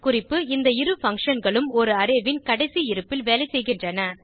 குறிப்பு இந்த இரு functionகளும் ஒரு அரே ன் கடைசி இருப்பில் வேலைசெய்கின்றன